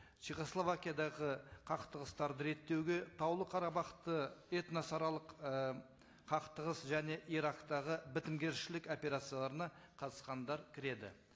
чехословакиядағы қақтығыстарды реттеуге таулы қарабахта этносаралық ы қақтығыс және ирактағы бітімгершілік операцияларына қатысқандар кіреді